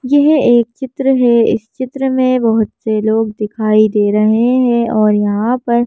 यह एक चित्र है इस चित्र में बहुत से लोग दिखाई दे रहे हैं और यहां पर--